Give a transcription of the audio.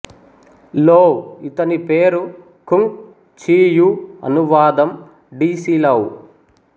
లో ఇతని పేరు కుంగ్ చియూ అనువాదం డి సి లౌ